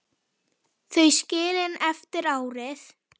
Þau skilin eftir árið.